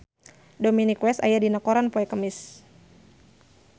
Dominic West aya dina koran poe Kemis